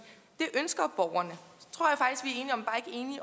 det ønsker borgerne